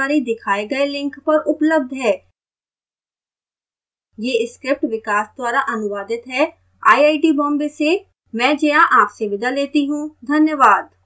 यह script विकास द्वारा अनुवादित है मैं जया अब आपसे विदा लेती हूँ